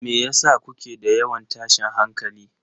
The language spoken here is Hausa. Me yasa kuke da yawan tashin hankali?